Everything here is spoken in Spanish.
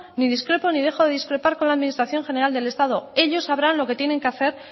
ni discrepo ni dejo de discrepar con la administración general del estado ellos sabrán lo que tienen que hacer